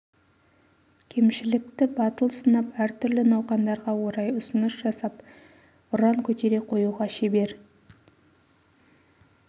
кемшілікті батыл сынап әртүрлі науқандарға орай ұсыныс жасап ұран көтере қоюға шебер